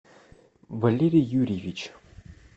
валерий юрьевич